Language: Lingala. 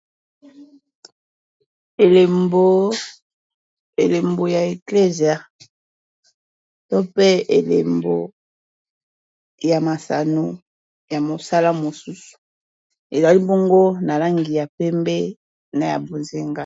Elembo ya eclesia to mpe elembo ya masano ya mosala mosusu ezali bongo na langi ya pembe na ya bozenga.